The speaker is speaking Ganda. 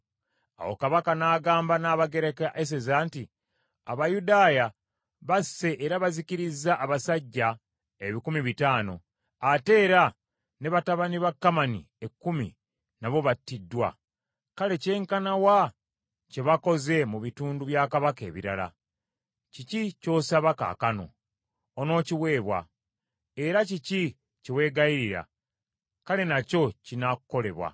Awo Kabaka n’agamba Nnabagereka Eseza nti, “Abayudaaya basse era bazikirizza abasajja ebikumi bitaano, ate era ne batabani ba Kamani ekkumi nabo battiddwa. Kale kyenkana wa kye bakoze mu bitundu bya Kabaka ebirala? Kiki ky’osaba kaakano? Onookiweebwa. Era kiki kye weegayirira? Kale n’akyo kinaakolebwa.”